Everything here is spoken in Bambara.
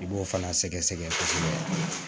I b'o fana sɛgɛsɛgɛ kosɛbɛ